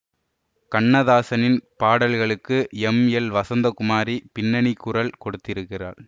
கண்ணதாசனின் பாடல்களுக்கு M L Vasanthakumari பின்னணிக்குரல் கொடுத்திருக்கிறார்